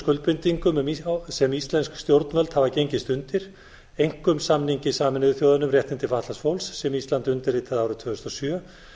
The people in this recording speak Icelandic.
skuldbindingum sem íslensk stjórnvöld hafa gengist undir einkum samningi sameinuðu þjóðanna um réttindi fatlaðs fólks sem ísland undirritaði árið tvö þúsund og sjö